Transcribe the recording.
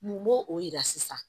Mun b'o o yira sisan